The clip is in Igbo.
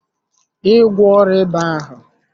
Ị gwọọ ọrịa ịba ahụ?